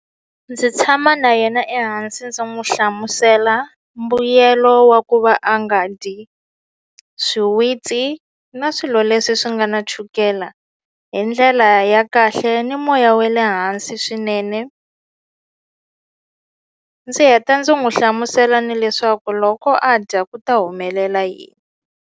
Ndzi tshama na yena ehansi ndzi n'wi hlamusela mbuyelo wa ku va a nga dyi swiwitsi na swilo leswi swi nga na chukela hi ndlela ya kahle ni moya we le hansi swinene ndzi heta ndzi n'wi hlamusela ni leswaku loko a dya ku ta humelela yini.